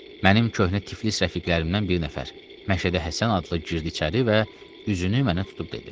Mənim köhnə Tiflis rəfiqlərimdən bir nəfər Məşədə Həsən adlı girdi içəri və üzünü mənə tutub dedi: